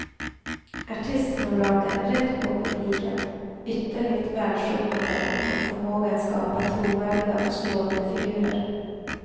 Artisterna brakar rätt på publiken, ytterligt välsjungande och med en förmåga att skapa trovärdiga och slående figurer.